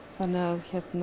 þannig að